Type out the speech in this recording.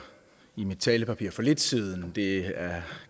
i mit talepapir for lidt siden men det